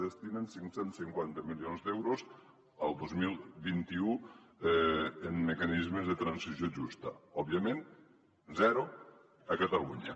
destinen cinc cents i cinquanta milions d’euros el dos mil vint u a mecanismes de transició justa òbviament zero a catalunya